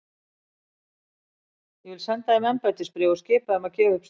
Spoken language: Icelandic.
Ég vil senda þeim embættisbréf og skipa þeim að gefa upp staðinn.